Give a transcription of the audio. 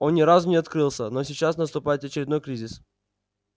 он ни разу не открылся но сейчас наступает очередной кризис